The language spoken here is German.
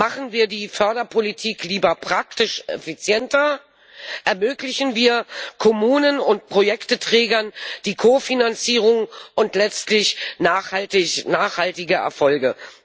Machen wir die Förderpolitik lieber praktisch effizienter, ermöglichen wir Kommunen und Projektträgern die Kofinanzierung und letztlich nachhaltige Erfolge!